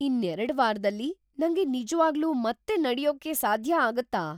ಇನ್ನೆರಡ್ ವಾರ್‌ದಲ್ಲಿ ನಂಗೆ ನಿಜ್ವಾಗ್ಲೂ ಮತ್ತೆ ನಡ್ಯೋಕ್ ಸಾಧ್ಯ ಆಗುತ್ತಾ?